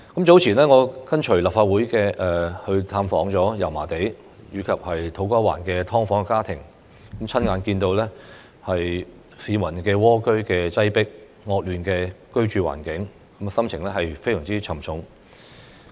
早前，我跟隨立法會探訪油麻地及土瓜灣的"劏房"家庭，親眼看到市民蝸居在擠迫、惡劣的居住環境，心情非常沉重。